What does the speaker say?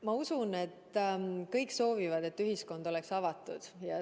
Ma usun, et kõik soovivad, et ühiskond oleks avatud.